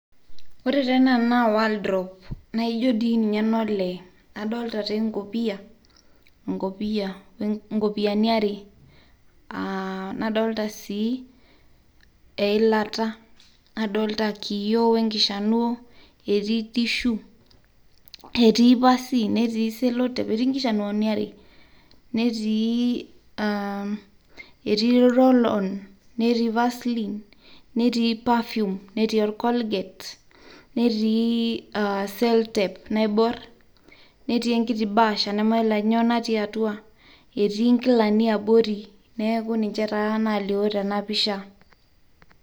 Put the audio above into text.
Ore taa ana naa wardrobe naaijo dei ninye nelee adolita taa enkopiyani aare nadolita sii eilata, nadolita nkiyoo oo nkishanuoo, etii tissue etii pasii, netii cello tape, etii nkishanuoni aree, etii irolon netii pasilin netii perfume netii olgolget, netii seltep naibuarr ,netii enkiti baasha namayolo ajo nyoo natii atua, etii enkilani abori neaku ninche taa nailioo tena pisha.